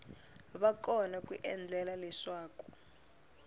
va kona ku endlela leswaku